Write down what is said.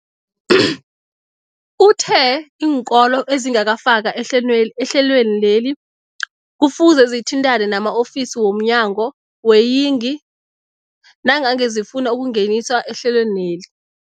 Uthe iinkolo ezingakafakwa ehlelwe ehlelweneli kufuze zithintane nama-ofisi wo mnyango weeyingi nangange zifuna ukungeniswa ehlelweni.